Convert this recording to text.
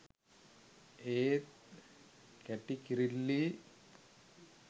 ඒත් කැටි කිරිල්ලි